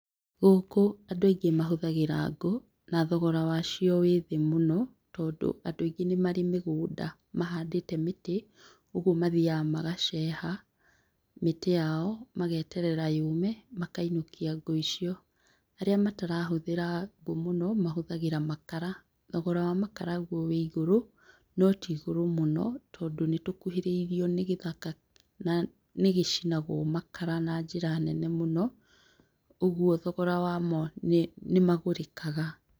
Gũkũ andũ aingĩ mahũthagĩra ngũũ na thogora wacio wĩthĩ mũno, tondũ andũ aingĩ nĩmarĩ mĩgũnda mahandĩte mĩtĩ ũguo mathiaga magaceha mĩtĩ yao, mageterera yũme makainũkia ngũ icio. Arĩa matarahũthĩra ngũ mũno mahũthagĩ makara. Thogora wa makara gwo wĩigũrũ, notiigũrũ mũno tondũ nĩtũkuhĩrĩirwo nĩgĩthaka na nĩgĩcinagwo makara na njĩra nene mũno. ũgwo thogora wamo nĩ, nĩ magũrĩkaga.